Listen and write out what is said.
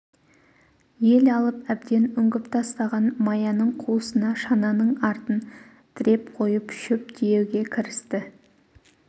ел алып әбден үңгіп тастаған маяның қуысына шананың артын тіреп қойып шөп тиеуге кірісті